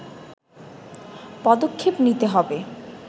পদক্ষেপ নিতে হবে